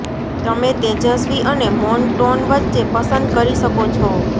તમે તેજસ્વી અને મૌન ટોન વચ્ચે પસંદ કરી શકો છો